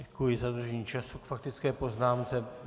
Děkuji za dodržení času k faktické poznámce.